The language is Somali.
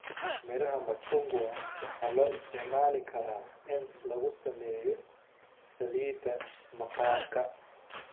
Miraha machungwa waxaa loo isticmaali karaa in lagu sameeyo saliidda maqaarka.